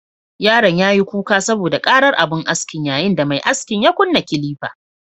Yaron yayi kuka saboda ƙarar abun askin, yayin da mai askin ya kunna kilifa